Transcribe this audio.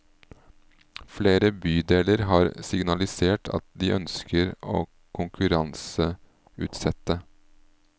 Flere bydeler har signalisert at de ønsker å konkurranseutsette.